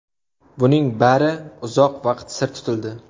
Buning bari uzoq vaqt sir tutildi.